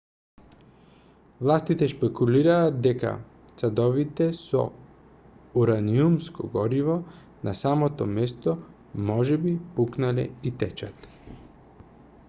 властите шпекулираат дека садовите со ураниумско гориво на самото место можеби пукнале и течат